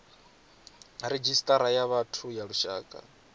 redzhisita ya vhathu ya lushaka